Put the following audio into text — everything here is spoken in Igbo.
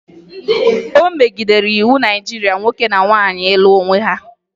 O megidere iwu Naịjirịa nwoke na nwoke ịlụ onwe ha